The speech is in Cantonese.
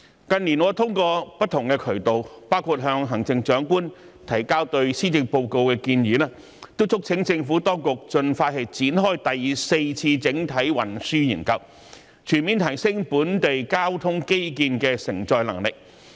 近年，我透過不同渠道，包括向行政長官提交對施政報告的建議，都促請政府當局盡快展開第四次整體運輸研究，全面提升本地交通基建的承載能力。